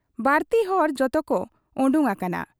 ᱵᱟᱹᱲᱛᱤ ᱦᱚᱲ ᱡᱚᱛᱚᱠᱚ ᱚᱰᱚᱠ ᱟᱠᱟᱱᱟ ᱾